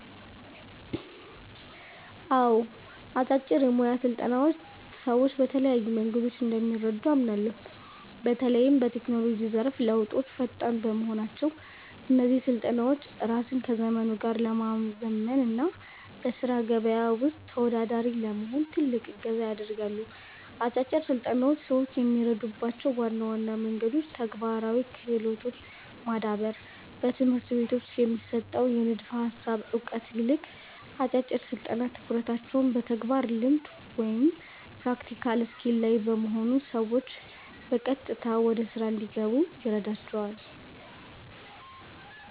አዎ፣ አጫጭር የሞያ ስልጠናዎች ሰዎችን በተለያዩ መንገዶች እንደሚረዱ አምናለሁ። በተለይም በቴክኖሎጂው ዘርፍ ለውጦች ፈጣን በመሆናቸው፣ እነዚህ ስልጠናዎች ራስን ከዘመኑ ጋር ለማዘመን እና በሥራ ገበያው ውስጥ ተወዳዳሪ ለመሆን ትልቅ እገዛ ያደርጋሉ። አጫጭር ስልጠናዎች ሰዎችን የሚረዱባቸው ዋና ዋና መንገዶች ተግባራዊ ክህሎትን ማዳበር፦ በትምህርት ቤቶች ከሚሰጠው የንድፈ ሃሳብ እውቀት ይልቅ፣ አጫጭር ስልጠናዎች ትኩረታቸው በተግባራዊ ልምድ (Practical Skill) ላይ በመሆኑ ሰዎች በቀጥታ ወደ ሥራ እንዲገቡ ይረዳቸዋል።